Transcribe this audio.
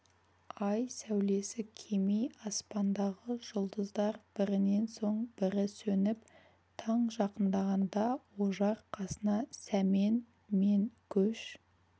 ай сәулесі кеми аспандағы жұлдыздар бірінен соң бірі сөніп таң жақындағанда ожар қасына сәмен мен көш